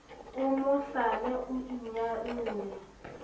o mo hlale o inyalle